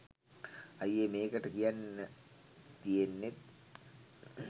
අයියේ මේකට කියන්න තියෙන්නේත්